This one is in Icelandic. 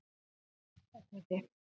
Oddakoti